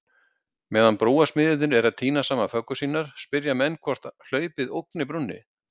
Meðan brúarsmiðirnir eru að týna saman föggur sínar, spyrja menn hvort hlaupið ógni brúnni?